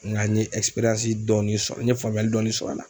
Nka n ye dɔɔnin sɔrɔ n ye faamuyali dɔɔni sɔrɔ a la.